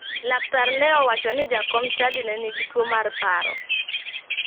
Laktar ne owacho ni jakom chadi ne nigi tuo mar paro